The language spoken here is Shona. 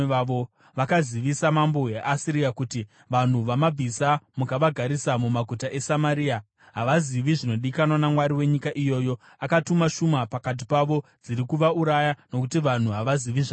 Vakazivisa mambo weAsiria kuti: “Vanhu vamabvisa mukavagarisa mumaguta eSamaria havazivi zvinodikanwa naMwari wenyika iyoyo. Akatuma shumba pakati pavo, dziri kuvauraya, nokuti vanhu havazivi zvaanoda.”